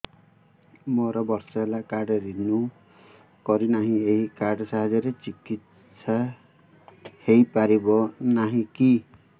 ମୋର ବର୍ଷେ ହେଲା କାର୍ଡ ରିନିଓ କରିନାହିଁ ଏହି କାର୍ଡ ସାହାଯ୍ୟରେ ଚିକିସୟା ହୈ ପାରିବନାହିଁ କି